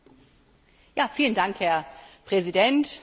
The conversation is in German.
Herr Präsident, Frau Kommissarin!